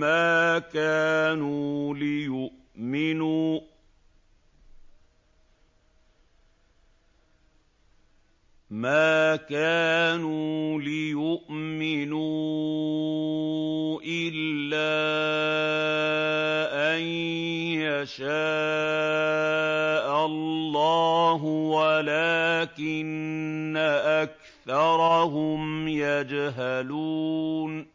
مَّا كَانُوا لِيُؤْمِنُوا إِلَّا أَن يَشَاءَ اللَّهُ وَلَٰكِنَّ أَكْثَرَهُمْ يَجْهَلُونَ